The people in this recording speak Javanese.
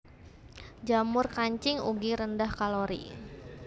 Jamur kancing ugi rendah kalori